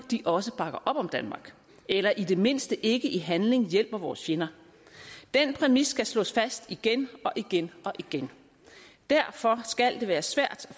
også bakker op om danmark eller i det mindste ikke i handling hjælper vores fjender den præmis skal slås fast igen og igen og igen derfor skal det være svært